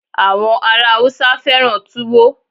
àwọn ará Hausa fẹràn tuwo